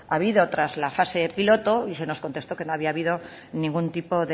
habido tras la fase piloto y se nos contestó que no había habido ningún tipo